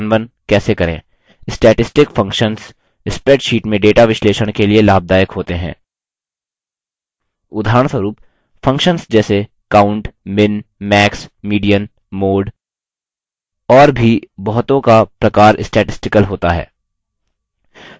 statistical functions spreadsheets में data विश्लेषण के लिए लाभदायक होते हैं उदाहरणस्वरुप functions जैसे count min max median mode और भी बहुतों का प्रकार statistical होता है